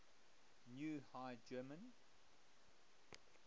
new high german